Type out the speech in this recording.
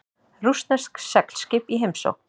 Rússneskt seglskip í heimsókn